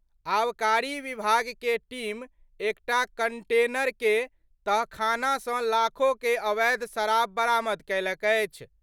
आबकारी विभाग के टीम एकटा कंटेनर के तहखाना सं लाखो के अवैध शराब बरामद कयलक अछि।